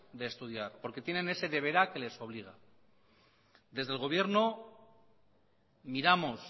de estudiar porque tienen ese deberá que les obliga desde el gobierno miramos